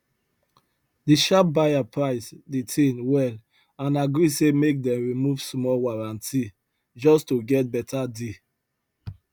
the sharp buyer price the thing well and agree say make dem remove small warranty just to get better deal